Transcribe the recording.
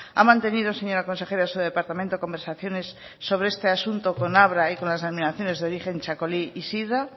ha mantenido señora consejera su departamento conversaciones sobre este asunto con abra y con las denominaciones de origen txakoli y sidra